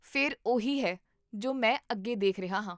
ਫਿਰ ਉਹੀ ਹੈ ਜੋ ਮੈਂ ਅੱਗੇ ਦੇਖ ਰਿਹਾ ਹਾਂ